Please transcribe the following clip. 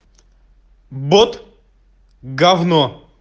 бот говно